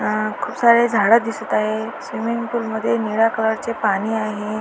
अ खूप सारे झाड दिसत आहे स्विमिंग पूल मध्ये निळ्या कलर चे पाणी आहे.